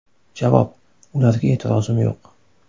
Javob: Ularga e’tirozim yo‘q.